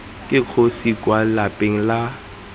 ke kgosi kwa lapeng la